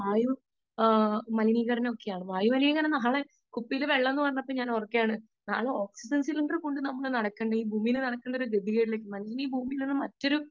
speaker 2 വായു മലിനീകരണം ഒക്കെയാണ് വായു മലിനീകരണം നാളെ , വെള്ളം എന്ന് പറഞ്ഞപ്പോൾ ഞാൻ ഓർക്കുകയാണ് നാളെ ഓക്സിജൻ സിലിണ്ടറുമായി ഭൂമിയിൽ നടക്കേണ്ട ഒരു ഗതികേട് ഈ ഭൂമിയിൽ നിന്ന് മറ്റൊരു